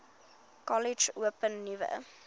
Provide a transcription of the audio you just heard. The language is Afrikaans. kollege open nuwe